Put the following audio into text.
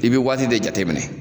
I be waati de jateminɛ.